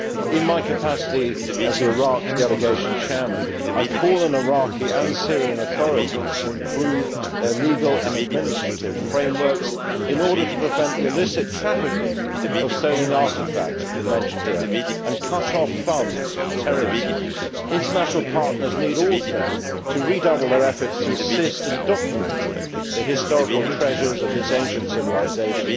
In my capacity as Iraq delegation chairman, I call on the Iraqi and Syrian authorities to improve their legal and administrative frameworks in order to prevent the illicit trafficking of stolen artefacts, as has been mentioned here, and cut off funds for terrorism. International partners also need to redouble their efforts to assist in documenting the historical treasures of this ancient civilisation.